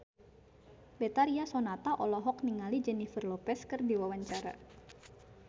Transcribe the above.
Betharia Sonata olohok ningali Jennifer Lopez keur diwawancara